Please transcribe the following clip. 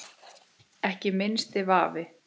Ekki minnsti vafi.